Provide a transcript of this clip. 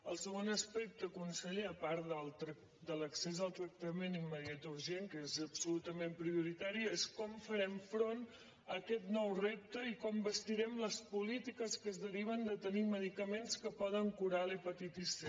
el segon aspecte conseller a part de l’accés al tracta·ment immediat o urgent que és absolutament priorita·ri és com farem front a aquest nou repte i com basti·rem les polítiques que es deriven de tenir medicaments que poden curar l’hepatitis c